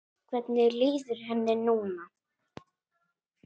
Hvernig líður henni núna?